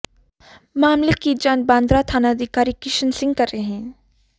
मामले की जांच भादरा थानाधिकारी किशन सिंह कर रहे हैं